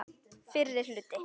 Fyrri hluti.